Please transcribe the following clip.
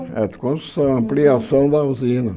Era de construção, ampliação da usina.